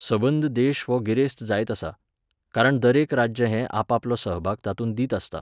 सबंद देश हो गिरेस्त जायत आसता. कारण दरेक राज्य हें आपापलो सहभाग तातूंत दीत आसता.